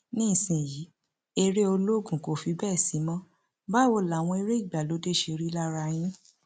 nísìnyìí eré olóògùn kò fi bẹẹ sí mọ báwo làwọn eré ìgbàlódé ṣe rí lára yín